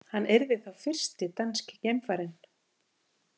Hann yrði þá fyrsti danski geimfarinn